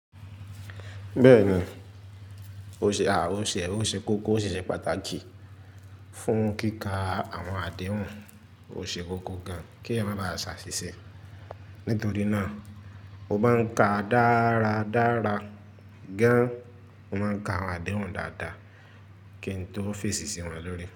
Bẹ́ẹ̀ni, òṣé òṣẹ́ kókó òṣìṣẹ́ pàtàkì fún kíkà àwọn àdéhùn. Ó ṣe kókó gan kí ẹ má bàá ṣàṣìṣe. Nítorí náà, mo máa ń ka dáradára gan, mo máa ń ka àwọn àdéhùn dáadáa kí n tó fèsì sí wọn lórí.